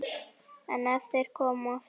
En ef þeir koma aftur?